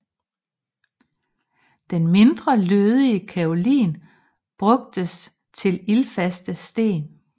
Den mindre lødige kaolin brugtes til ildfaste sten